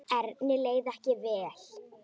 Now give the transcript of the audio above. Erni leið ekki vel.